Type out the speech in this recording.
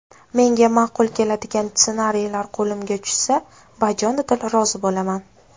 Menga ma’qul keladigan ssenariylar qo‘limga tushsa, bajonidil rozi bo‘laman.